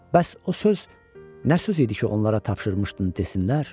Bəs o söz nə söz idi ki, onlara tapşırmışdın desinlər?